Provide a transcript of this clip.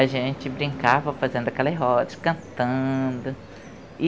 A gente brincava fazendo aquelas rodas, cantando.